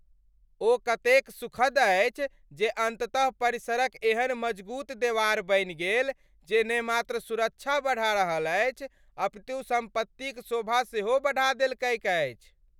ओह कतेक सुखद अछि जे अन्ततः परिसरक एहन मजगूत देवार बनि गेल जे ने मात्र सुरक्षा बढ़ा रहल छैक अपितु सम्पत्तिक शोभा सेहो बढ़ा देलकैक अछि।